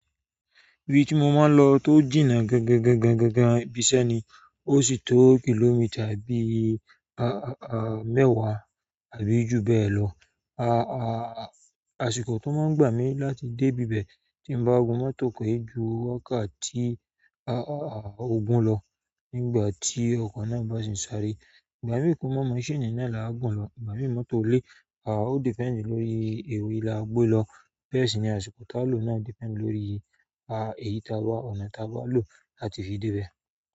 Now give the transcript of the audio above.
Ibi tí mo máa ń lọ tó jìnnà gangangangan ibi iṣẹ́ ni, ó sì tó kìlómítà bí i mẹ́wàá àbí jù bẹ́ẹ̀ lọ. Àsìkò tó máa ń gbà mí láti dé ibi bẹ̀ tí n bá gun mọ́tò ko e ju wákàtí ogún lọ nígbà tí ọkọ̀ náà bá sì ń sáré. Ìgbà mí kò mọ̀ machine náà la gùn lọ, ìgbà mí mọ́tò ile, ó depend lórí ewe lá gbé lọ, bẹ́ẹ̀ sì ni àsìkò tá ló náà depend lórí ọ̀nà tá bá lò láti fi dé ibẹ̀.